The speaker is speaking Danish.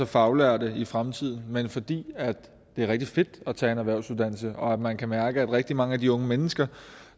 faglærte i fremtiden men fordi det er rigtig fedt at tage en erhvervsuddannelse og man kan mærke at rigtig mange af de unge mennesker